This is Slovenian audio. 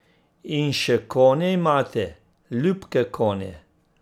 In še konje imate, ljubke konje.